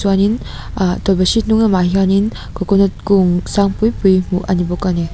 chuan in ah tawlhpahrit hnunglam ah hianin coconut kung sang pui pui hmuh ani bawk ani.